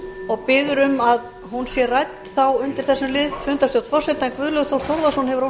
og biður um að hún sé rædd þá undir þessum lið